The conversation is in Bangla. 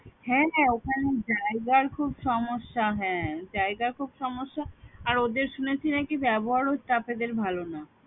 হ্যাঁ হ্যাঁ ওখানে জায়গার খুব সমস্যা হ্যাঁ জায়গার খুব সমস্যা আর ওদের শুনেছি নাকি ব্যবহারও staff এদের ভালো না